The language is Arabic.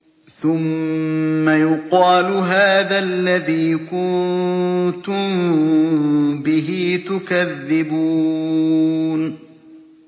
ثُمَّ يُقَالُ هَٰذَا الَّذِي كُنتُم بِهِ تُكَذِّبُونَ